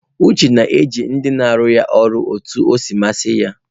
Uche na-eji ndị na arụ ya ọrụ otu ọ si masị ya.